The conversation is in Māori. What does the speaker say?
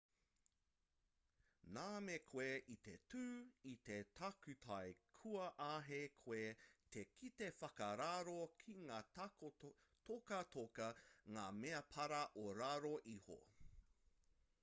nā me koe i te tū i te takutai kua āhei koe te kite whakararo ki ngā tokatoka ngā mea para o raro iho